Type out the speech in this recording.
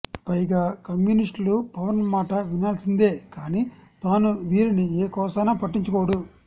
పైగా కమ్యూనిస్టులు పవన్ మాట వినాల్సిందే కానీ తాను వీరిని ఏ కోశానా పట్టించుకోడు